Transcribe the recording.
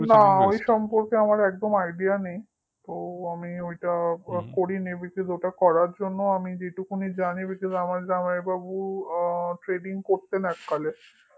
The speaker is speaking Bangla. না ওই সম্পর্কে আমার একদম idea নেই ও আমি এটা করিনি বিকজ ওটা করার জন্য আমি যেটুকুনি জানি because আমার জামাইবাবু trading করতেন এককালে